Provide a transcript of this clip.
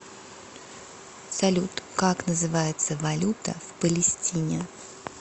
салют как называется валюта в палестине